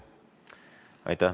Aitäh!